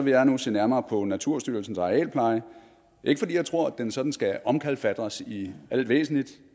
jeg nu se nærmere på naturstyrelsens arealpleje ikke fordi jeg tror at den sådan skal omkalfatres i alt væsentligt